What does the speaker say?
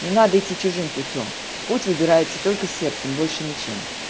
не надо идти чужим путём путь выбирается только сердцем больше ничем